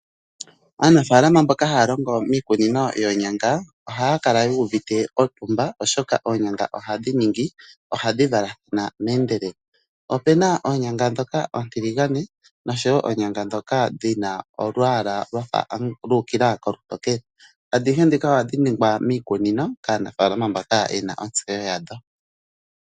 Aanafaalama mboka haya longo miikunino yoonyanga, oha ya kala yuuvite otumba oshoka oonyanga ohadhi ningii: ohadhi valathana meendelelo. Opena oonyanga ndhoka oontiligane nosho wo oonyanga ndhoka dhina olwaala lwafa lu u kila kolutokele, adhihe ndhika ohadhi ningwa miikunino kaanafaalama mbaka yena ontseyo yadho.